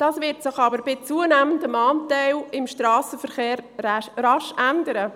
Das wird sich aber bei zunehmendem Anteil im Strassenverkehr rasch ändern.